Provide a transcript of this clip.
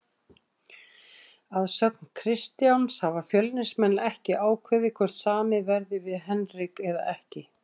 Að sögn Kristjáns hafa Fjölnismenn ekki ákveðið hvort samið verði við Henrik eða ekki.